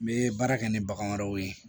N bɛ baara kɛ ni bagan wɛrɛw ye